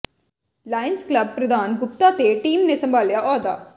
Lions Club ਪ੍ਰਧਾਨ ਗੁਪਤਾ ਤੇ team ਨੇ ਸੰਭਾਲਿਆ ਅਹੁਦਾ